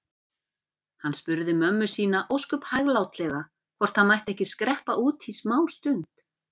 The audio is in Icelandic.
Hann spurði mömmu sína ósköp hæglátlega hvort hann mætti ekki skreppa út smástund.